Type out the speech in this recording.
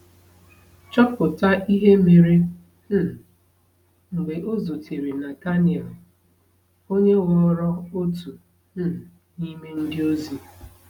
Chọpụta ihe mere um mgbe ọ zutere Nathanael, onye ghọrọ otu um n’ime ndịozi.